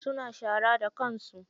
Suna shara da kansu.